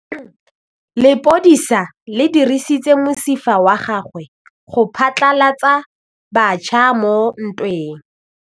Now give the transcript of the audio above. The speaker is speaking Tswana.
Lepodisa le dirisitse mosifa wa gagwe go phatlalatsa batšha mo ntweng.